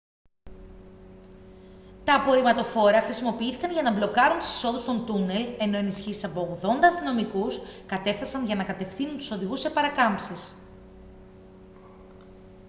τα απορριμματοφόρα χρησιμοποιήθηκαν για να μπλοκάρουν τις εισόδους των τούνελ ενώ ενισχύσεις από 80 αστυνομικούς κατέφθασαν για να κατευθύνουν τους οδηγούς σε παρακάμψεις